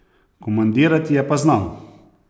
Komandirati je pa znal!